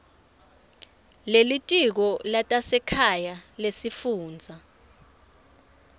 lelitiko letasekhaya lesifundza